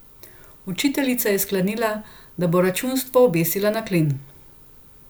Učiteljica je sklenila, da bo računstvo obesila na klin.